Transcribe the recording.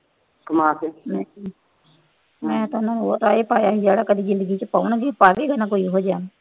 ਮੈਂ ਤਾਂ ਨਾ ਉਹ ਪਾਇਆ ਸੀ ਜਿੰਦਗੀ ਚ ਕੋਈ ਪਲ ਈ ਨਾ ਇਹੋ ਜਿਹੇ ਆਣ